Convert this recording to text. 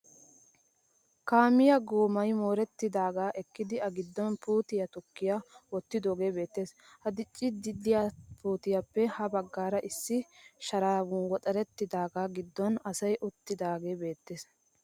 Kaamiya goomay moorettidaagaa ekkidi a giddon puutiya tokki wottidoogee beettes. Ha dicciiddi de'iya puutiyaappe ya baggaara issi Sharan woxxarettidaagaa gidduwan asay uttidaagee beettes.